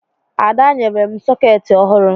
Ada nyere m sọkeetị ọhụrụ